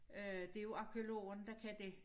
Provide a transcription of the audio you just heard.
Øh det er jo arkæologerne der kan det